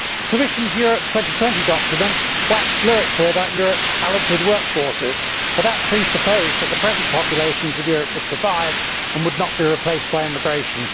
The Commission's Europe 2020 document waxed lyrical about Europe's talented workforces, but that presupposed that the present populations of Europe would survive and would not be replaced by immigration.